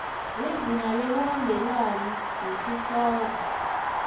lizinga ngekuhambelana nesihloko